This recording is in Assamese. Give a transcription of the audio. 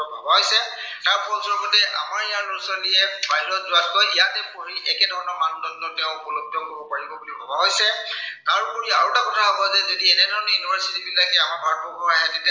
তাৰ ফলস্বৰূপতে আমাৰ ইয়াৰ লৰা-ছোৱালীয়ে বাহিৰত যোৱাতকৈ ইয়াতে পঢ়ি একে ধৰনৰ মানদণ্ড এতিয়া উপলব্ধ কৰিব পাৰিব বুলি ভবা হৈছে। তাৰোপৰি আৰু এটা কথা ভবা হৈছে, যদি এনে ধৰনে university বিলাকে আমাৰ ভাৰতবৰ্ষ আহে, তেতিয়া